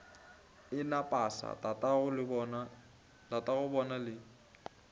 a na pasa tatagobona le